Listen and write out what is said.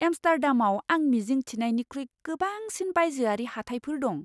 एम्स्टार्डामाव आं मिजिं थिनायनिख्रुइ गोबांसिन बायजोआरि हाथायफोर दं!